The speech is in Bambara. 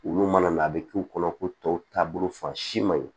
Olu mana mɛn a bɛ k'u kɔnɔ ko tɔw taabolo fan si man ɲi